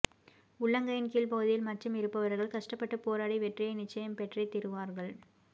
உள்ளங்கையின் கீழ் பகுதியில் மச்சம் இருப்பவர்கள் கஷ்டப்பட்டு போராடி வெற்றியை நிச்சயம் பெற்றே தீருவார்கள்